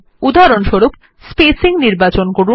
উদাহরণস্বরূপ স্পেসিং নির্বাচন করুন